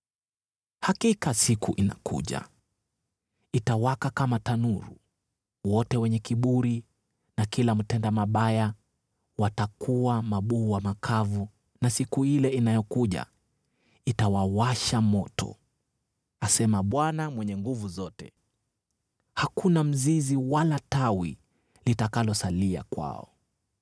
“Hakika siku inakuja, itawaka kama tanuru. Wote wenye kiburi na kila mtenda mabaya watakuwa mabua makavu, na siku ile inayokuja itawawasha moto,” asema Bwana Mwenye Nguvu Zote. “Hakuna mzizi wala tawi litakalosalia kwao.